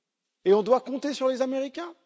Et on doit compter sur les Américains?